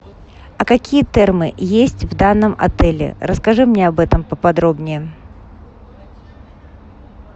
а какие термы есть в данном отеле расскажи мне об этом подробнее